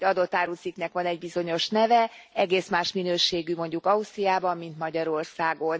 Tehát egy adott árucikknek van egy bizonyos neve, egész más minőségű mondjuk Ausztriában, mint Magyarországon.